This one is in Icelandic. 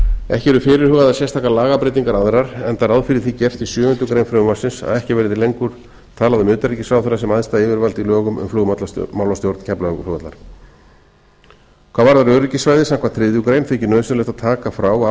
ekki eru fyrirhugaðar sérstakar lagabreytingar aðrar enda ráð fyrir því gert í sjöundu greinar frumvarpsins að ekki verði lengur talað um utanríkisráðherra sem æðsta yfirvald í lögum um flugmálastjórn keflavíkurflugvallar hvað varðar öryggissvæði samkvæmt þriðju greinar þykir nauðsynlegt að taka frá